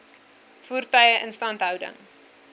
voertuie instandhouding